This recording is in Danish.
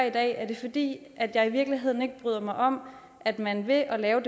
i dag er det fordi jeg i virkeligheden ikke bryder mig om at man ved at